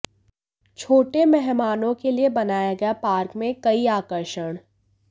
छोटे मेहमानों के लिए बनाया गया पार्क में कई आकर्षण